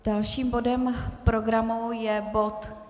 Dalším bodem programu je bod